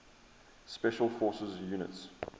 special forces units